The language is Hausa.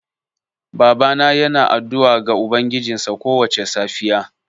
Babana yana addu'a ga ubangijinsa kowace safiya.